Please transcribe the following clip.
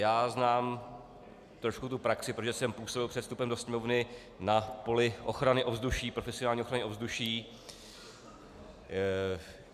Já znám trošku tu praxi, protože jsem působil před vstupem do Sněmovny na poli ochrany ovzduší, profesionální ochrany ovzduší.